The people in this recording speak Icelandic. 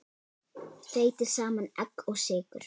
Þeytið saman egg og sykur.